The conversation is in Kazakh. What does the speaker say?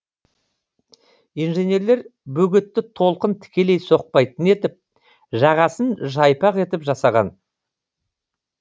инженерлер бөгетті толқын тікелей соқпайтын етіп жағасын жайпақ етіп жасаған